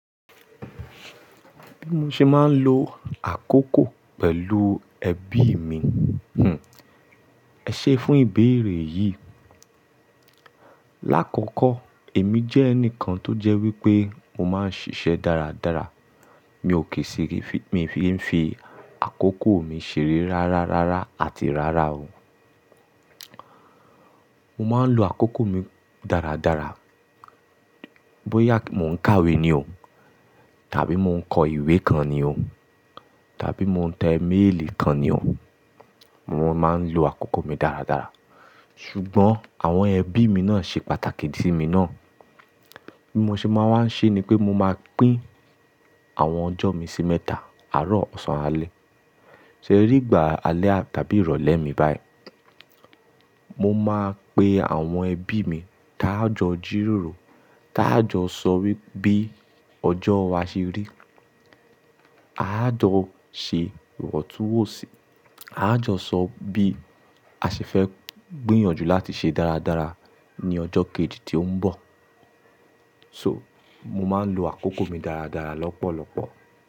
Bí mo ṣe máa ń lo àkókò pẹ̀lú ẹbí mi? Hm. Ẹ ṣé fún ìbéèrè yìí. Lákọ̀ọ̀kọ́ èmi jẹ́ ẹnìkan tó jẹ́ wípé mo máa ń ṣiṣẹ́ dáradára. Mi ò kì í sìrì fí-- mi fi ń fi àkókò mi ṣeré rárárára àti rárá o. Mo máa ń lo àkókò mi dáradára. Bóyá mò ń kàwé ni o tàbí mò ń kọ ìwé kan ni o tàbí mò ń tẹ email kan ni o, mo máa ń lo àkókò mi dáradára. Ṣùgbọ́n àwọn ẹbí mi náà ṣe pàtàkì sí mi ná. Bí mo ṣe máa ń wá ṣe ni pé mo máa pín àwọn ọjọ́ mi sí mẹ́ta, àárọ̀, ọ̀sán, alẹ́.se ri ìgbà alẹ́ tàbí ìrọ̀lẹ́ mi báyìí. Mo máa pe àwọn ẹbí mi, ta a jírórò, ta a jo sọ wípé bí ọjọ́ wa ṣe rí. A á jọ ṣe ìwọ̀ntúnwònsì, a á jọ sọ bí a ṣe fẹ́ gbìyànjú láti ṣe dáradára ní ọjọ́ kejì tí ó ń bọ̀. So, mo máa ń lo àkókò mi dáradára lọ́pọ̀lọpọ̀.